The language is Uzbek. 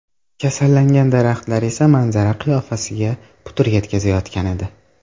Kasallangan daraxtlar esa manzara qiyofasiga putur yetkazayotgan edi.